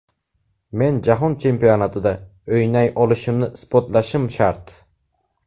Men Jahon chempionatida o‘ynay olishimni isbotlashim shart.